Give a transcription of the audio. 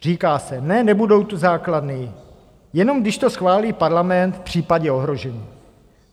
Říká se ne, nebudou tu základny, jenom když to schválí Parlament v případě ohrožení.